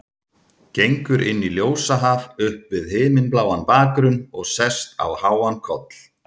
Gengur inn í ljósahaf upp við himinbláan bakgrunn og sest á háan koll.